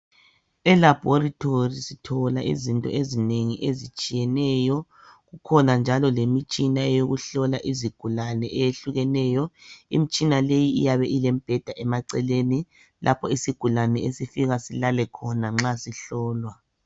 Elaboratory sithola izinto ezinengi ezitshiyeneyo kukhona njalo lemitshina yokuhlola izigulane eyehlukeneyo imitshina leyi iyabe ilembheda emaceleni lapho isigulane esifika silale khona nxa sihlolwa